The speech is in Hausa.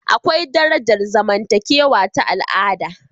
Akwai darajar zamantakewa ta al'ada